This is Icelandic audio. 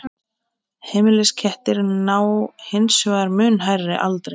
Heimiliskettir ná hins vegar mun hærri aldri.